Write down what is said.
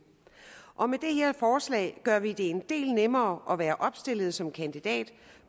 og med det her forslag gør vi det en del nemmere at være opstillet som kandidat